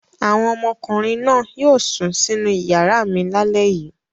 Àwọn ọmọkùnrin náà yóò sùn sínú ìyàrá mi lálẹ́ yìí.